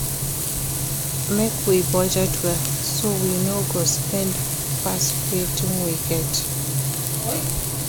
Make we budget well, so we no go spend pass wetin we get.